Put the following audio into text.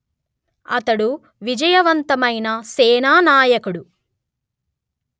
అతడు విజయవంతమైన సేనానాయకుడు